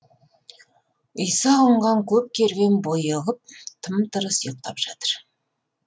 ұйыса қонған көп керуен бұйығып тым тырыс ұйықтап жатыр